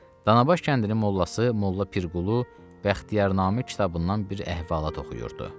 Danabaş kəndinin mollası molla Pirqulu Bəxtiyar Namik kitabından bir əhvalat oxuyurdu.